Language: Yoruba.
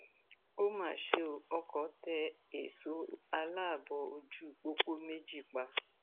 ó mà ṣe ọ ọkọ tẹ èso aláàbọ ojú pópó méjì pa